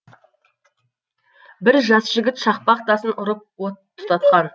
бір жас жігіт шақпақ тасын ұрып от тұтатқан